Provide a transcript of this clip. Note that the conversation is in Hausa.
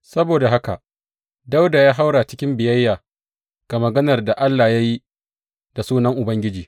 Saboda haka Dawuda ya haura cikin biyayya ga maganar da Allah ya yi da sunan Ubangiji.